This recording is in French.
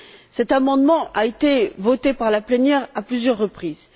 Cet amendement a été voté par la plénière à plusieurs reprises.